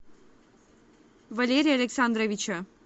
валерия александровича